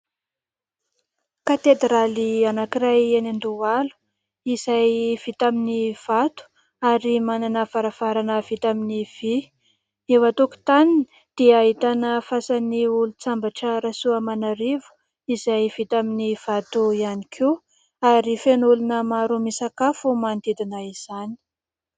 Katedraly anankiray eny Andohalo izay vita amin'ny vato ary manana varavarana vita amin'ny vý. Eo an-tokotaniny dia ahitana fasan'ny olon-tsambatra Rasoamanarivo izay vita amin'ny vato ihany koa ary feno olona maro misakafo manodidina izany.